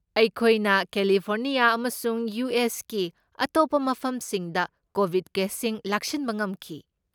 ꯑꯩꯈꯣꯏꯅ ꯀꯦꯂꯤꯐꯣꯔꯅꯤꯌꯥ ꯑꯃꯁꯨꯡ ꯌꯨ.ꯑꯦꯁ.ꯀꯤ ꯑꯇꯣꯞꯄ ꯃꯐꯝꯁꯤꯡꯗ ꯀꯣꯕꯤꯗ ꯀꯦꯁꯁꯤꯡ ꯂꯥꯛꯁꯤꯟꯕ ꯉꯝꯈꯤ꯫